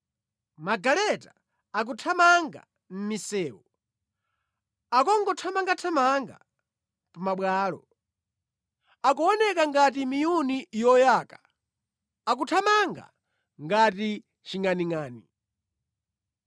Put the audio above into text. Magaleta akuthamanga mʼmisewu akungothamangathamanga pa mabwalo. Akuoneka ngati miyuni yoyaka; akuthamanga ngati chingʼaningʼani.